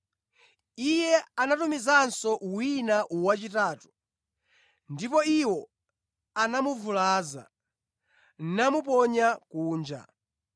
Iye anatumizanso wina wachitatu ndipo iwo anamuvulaza namuponya kunja.